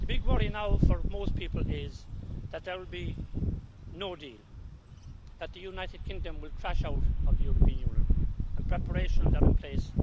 The big worry now for most people is that there will be no deal, that the United Kingdom will crash out of the European Union, and preparations are in place